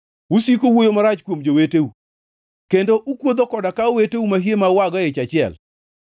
Usiko uwuoyo marach kuom joweteu kendo ukuotho koda ka oweteu mahie ma uago e ich achiel.